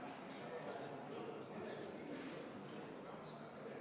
Ma palun seda hääletada ja enne seda kümme minutit vaheaega!